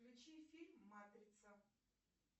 включи фильм матрица